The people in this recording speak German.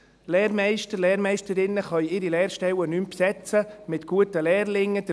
Lehrmeister, Lehrmeisterinnen können ihre Lehrstellen nicht mehr mit guten Lehrlingen besetzen.